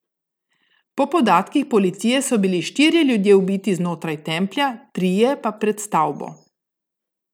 Po podatkih policije so bili štirje ljudje ubiti znotraj templja, trije pa pred stavbo.